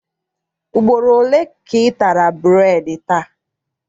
Ugboro ole ka ị tara bureedi taa?